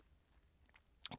DR K